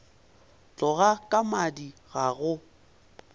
tloga ka madi ga go